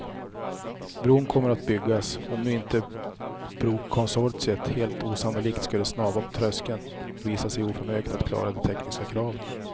Bron kommer att byggas, om nu inte brokonsortiet helt osannolikt skulle snava på tröskeln och visa sig oförmöget att klara de tekniska kraven.